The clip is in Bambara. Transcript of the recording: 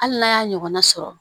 Hali n'a y'a ɲɔgɔnna sɔrɔ